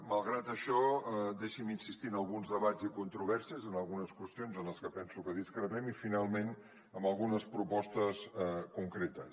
malgrat això deixi’m insistir en alguns debats i controvèrsies en algunes qüestions en què penso que discrepem i finalment en algunes propostes concretes